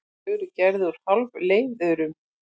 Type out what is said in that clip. Þau eru gerð úr hálfleiðurum.